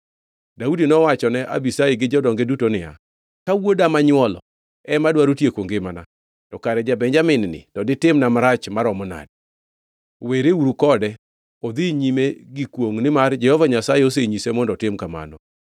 Daudi nowachone Abishai gi jodonge duto niya, “Ka wuoda, manywolo ema dwaro tieko ngimana, to kare ja-Benjamin-ni ditimna marach maromo nade! Wereuru kode odhi nyime gi kwongʼ nimar Jehova Nyasaye osenyise mondo otim kamano.